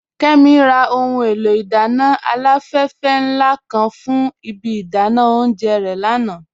Kẹ́mí rà ọhun è̩lò̩ idànna aláfèfè nla kan fún ìbí idànà ọ̀unjẹ́ re lànà.